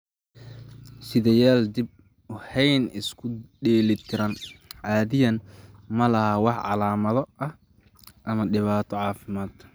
Sidayaal dib u habeyn isku dheeli tiran caadiyan ma laha wax calaamado ah ama dhibaato caafimaad.